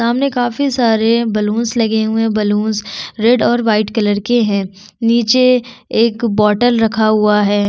सामने काफी सारे बलूनस लगे हुए है बलूनस रेड और वाइट कलर के है निचे एक बॉटलस रखा हुआ है।